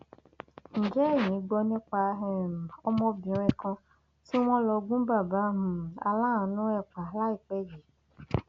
ǹjẹ ẹyin gbọ nípa um ọmọbìnrin kan tí wọn lọ gun bàbá um aláàánú ẹ pa láìpẹ yìí